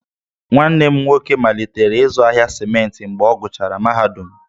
Nwanne m nwoke malitere ịzụ ahịa simenti mgbe ọ gụchara mahadum,